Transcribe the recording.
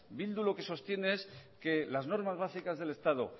bildu lo que sostiene es que las normas básicas del estado